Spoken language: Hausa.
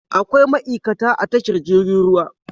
Akwai ma'ikata a tashar jirgin ruwa